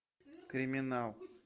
криминал